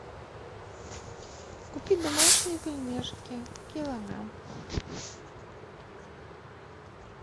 купи домашние пельмешки килограмм